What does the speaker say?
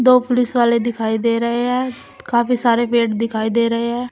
दो पुलिस वाले दिखाई दे रहे हैं काफी सारे पेड़ दिखाई दे रहे हैं।